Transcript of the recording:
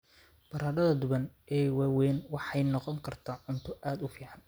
Baradhada duban ee waaweyn waxay noqon kartaa cunto aad u fiican.